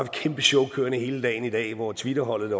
kæmpe show kørende hele dagen i dag hvor twitterholdet